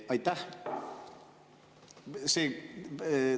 Aitäh!